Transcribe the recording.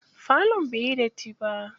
Falon bai yi datti ba.